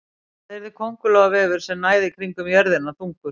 Hvað yrði köngulóarvefur sem næði kringum jörðina þungur?